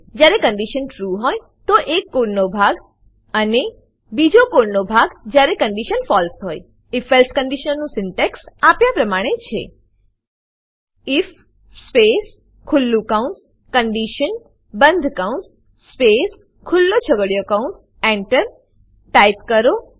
જયારે condition true હોય તો એક કોડ નો ભાગ અને બીજો કોડ નો ભાગ જયારે કન્ડીશન ફળસે હોય if એલ્સે કન્ડીશનનું સિન્ટેક્સ આપ્યા પ્રમાણે છે આઇએફ સ્પેસ ખુલ્લું કૌંસ conditionબંધ કૌંસ સ્પેસ ખુલ્લો છગડીયો કૌંસ એન્ટર ટાઈપ કરો